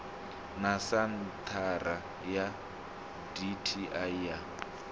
na senthara ya dti ya